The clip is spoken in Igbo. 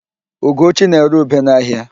Ugochi na-ere ube n'ahịa.